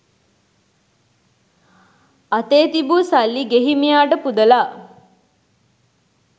අතේ තිබූ සල්ලි ගෙහිමියාට පුදලා